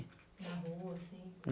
Na rua, assim.